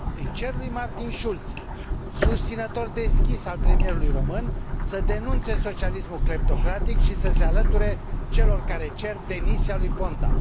Îi cer lui Martin Schultz, susținător deschis al premierului român, să denunțe socialismul cleptocratic și să se alăture celor care cer demisia lui Ponta.